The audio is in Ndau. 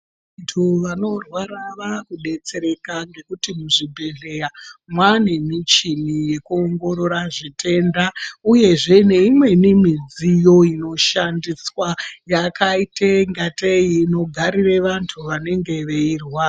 Vantu vanorwara vamudetsereka nhekuti muzvibhedhlera Mwane michini yekuongorora zvitenda uyezve neimweni midziyo inoshandiswa yakaita ngatei inogarira vantu vanenge veirwara.